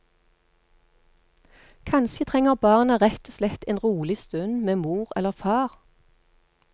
Kanskje trenger barna rett og slett en rolig stund med mor eller far.